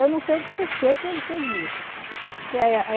Eu não sei por que ele fez isso. Que é a